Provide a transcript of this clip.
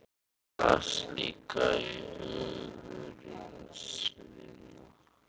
Hún las líka um hungursneyðina í